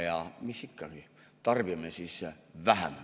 Ja mis siis ikka, tarbime vähem.